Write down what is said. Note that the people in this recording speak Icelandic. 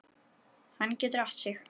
Hann getur átt sig.